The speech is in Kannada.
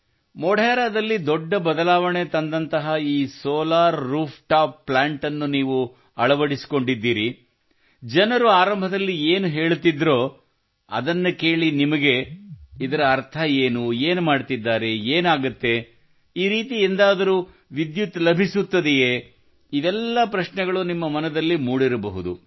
ಮೊಢೆರಾದಲ್ಲಿ ದೊಡ್ಡ ಬದಲಾವಣೆಯನ್ನು ತಂದಂತಹ ಈ ಸೋಲಾರ್ ರೂಫ್ಟಾಪ್ ಪ್ಲಾಂಟ್ ಅನ್ನು ನೀವು ಅಳವಡಿಸಿಕೊಂಡಿದ್ದೀರಿ ಜನರು ಆರಂಭದಲ್ಲಿ ಏನು ಹೇಳುತ್ತಿದ್ದರೋ ಅದನ್ನು ಕೇಳಿ ನಿಮಗೆ ಇದರ ಅರ್ಥವೇನು ಏನು ಮಾಡುತ್ತಿದ್ದಾರೆ ಏನಾಗುವುದು ಈ ರೀತಿ ಎಂದಾದರೂ ವಿದ್ಯುತ್ ಲಭಿಸುತ್ತದೆಯೇ ಇವೆಲ್ಲ ಪ್ರಶ್ನೆಗಳು ನಿಮ್ಮ ಮನದಲ್ಲಿ ಮೂಡಿರಬಹುದು